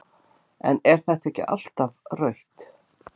en er þetta ekki alltaf rautt??